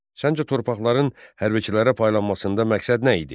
Səncə torpaqların hərbçilərə paylanmasında məqsəd nə idi?